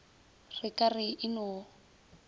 re ka re e no